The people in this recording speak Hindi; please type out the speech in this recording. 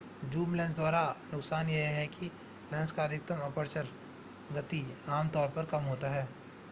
ज़ूम लेंस का दूसरा नुकसान यह है कि लेंस का अधिकतम एपर्चर गति आम तौर पर कम होता है